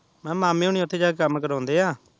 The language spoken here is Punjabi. ਮੈਂ ਕਿਹਾ ਮਾਮੇ ਓਹਨੀ ਓਥੇ ਜਾ ਕੇ ਕਾਮ ਕਰਾਉਂਦੇ ਆ